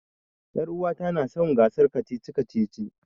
Ƴaruwata na son gasar kacici-kacici.